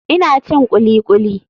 Ina cin kulikuli.